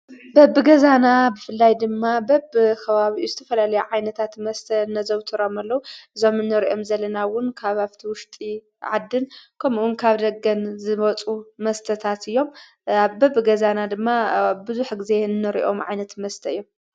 በብ ገዛና ብፍላይ ድማ በብ ኸባብኡ ዝተፈላለዩ ዓይነታት መስተ ነዘውተሮም አሎዉ ዞም ነርኦም ዘለናውን ካብ ፍቲ ውሽጢ ዓድን ከምዑን ካብ ደገን ዝመጹ መስተታት እዮም ኣበብ ገዛና ድማ ብዙሕ ጊዜ ንርኦም ዓይነት መስተ እዮም።